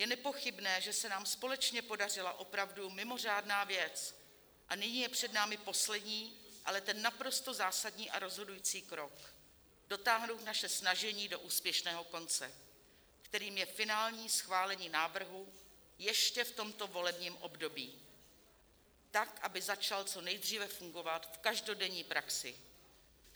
Je nepochybné, že se nám společně podařila opravdu mimořádná věc, a nyní je před námi poslední, ale ten naprosto zásadní a rozhodující krok, dotáhnout naše snažení do úspěšného konce, kterým je finální schválení návrhu ještě v tomto volebním období tak, aby začal co nejdříve fungovat v každodenní praxi.